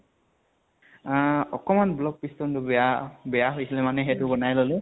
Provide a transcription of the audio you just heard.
আহ অকমান block piston টো বেয়া বেয়া হৈছিলে মানে সেইটো বনাই ললো।